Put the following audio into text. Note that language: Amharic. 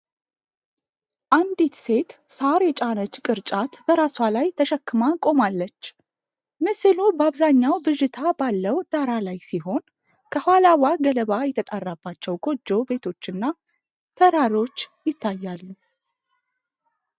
አንዲት ሴት ሣር የጫነች ቅርጫት በራሷ ላይ ተሸክማ ቆማለች። ምስሉ በአብዛኛው ብዥታ ባለው ዳራ ላይ ሲሆን፣ ከኋላዋ ገለባ የጣራባቸው ጎጆ ቤቶችና ተራሮች ይታያሉ።